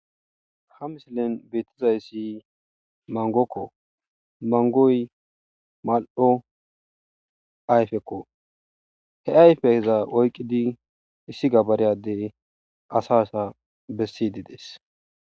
ha misilen beettizayssi mangokko mangoy mal7o ayfekko he ayfeheza oyqqidi issi gabareyadey asa sa bessidi dees